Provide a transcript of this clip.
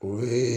O ye